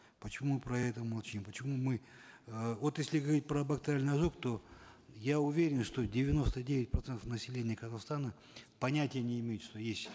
почему про это молчим почему мы э вот если говорить про бактериальный ожог то я уверен что девяносто девять процентов населения казахстана понятия не имеют что есть